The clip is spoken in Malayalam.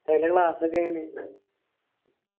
ഉസ്താദിന്റെ class ഒക്കെ എങ്ങനേണ്